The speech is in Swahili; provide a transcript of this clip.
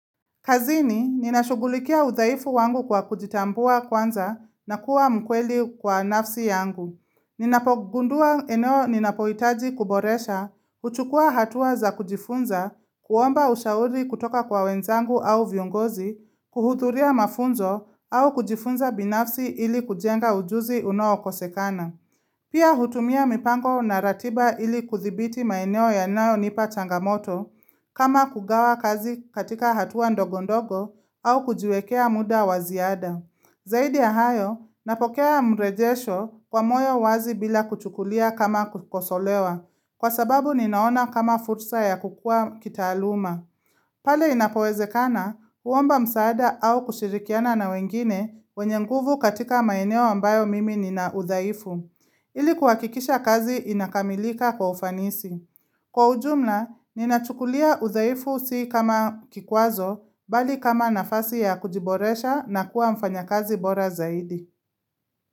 Kazini, ninashugulikia udhaifu wangu kwa kujitambua kwanza na kuwa mkweli kwa nafsi yangu. Ninapogundua eneo ninapoitaji kuboresha, uchukua hatuwa za kujifunza, kuomba ushauri kutoka kwa wenzangu au viongozi, kuhudhuria mafunzo au kujifunza binafsi ili kujenga ujuzi unaokosekana. Pia hutumia mipango na ratiba ili kuthibiti maeneo yanayonipa changamoto, kama kugawa kazi katika hatua ndogondogo au kujiwekea muda waziada. Zaidi ya hayo, napokea mrejesho kwa moyo wazi bila kuchukulia kama kukosolewa, kwasababu ninaona kama fursa ya kukua kitaaluma. Pale inapowezekana, kuomba msaada au kushirikiana na wengine wenye nguvu katika maeneo ambayo mimi nina udhaifu. Ili kuwakikisha kazi inakamilika kwa ufanisi. Kwa ujumla, ninachukulia uthaifu si kama kikwazo, bali kama nafasi ya kujiboresha na kuwa mfanya kazi bora zaidi.